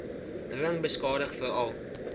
ring beskadig veral